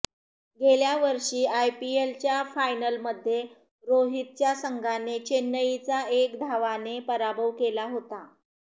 गेल्या वर्षी आयपीएलच्या फायनलमध्ये रोहितच्या संघाने चेन्नईचा एक धावाने पराभव केला होता